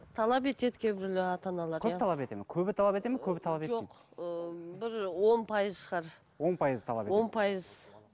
талап етеді кейбіреулер ата аналар көп талап етеді ме көбі талап етеді ме көбі талап етпейді жоқ ыыы бір ы он пайызы шығар он пайызы талап етеді он пайыз